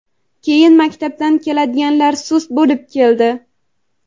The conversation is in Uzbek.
keyin maktabdan keladiganlar sust bo‘lib keldi.